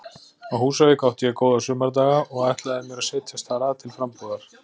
Á Húsavík átti ég góða sumardaga og ætlaði mér að setjast þar að til frambúðar.